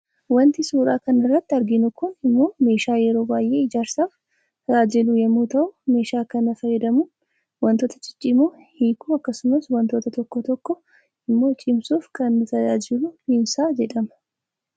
Waanti suuraa kana irratti arginu kun immoo meeshaa yeroo baayee ijaarsaaf tajaajiluu yemmuu tahu, meeshaa kana fayyaadamuun waantota ciccimoo hiikuu akkasuma waantota tokko tokko immoo cimsuuf kan tajaajilu piinsaa jedhama.